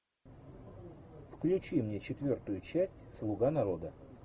включи мне четвертую часть слуга народа